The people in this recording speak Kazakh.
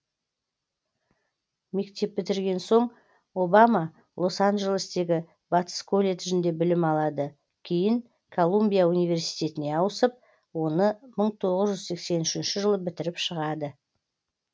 мектеп бітірген соң обама лос анджелестегі батыс колледжінде білім алады кейін колумбия университетіне ауысып оны мың тоғыз жүз сексен үшінші жылы бітіріп шығады